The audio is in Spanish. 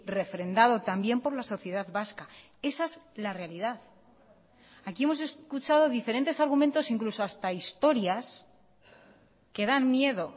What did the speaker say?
refrendado también por la sociedad vasca esa es la realidad aquí hemos escuchado diferentes argumentos incluso hasta historias que dan miedo